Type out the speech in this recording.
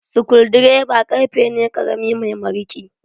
Sukuldireba ƙarfe ne ƙarami mai mariƙi.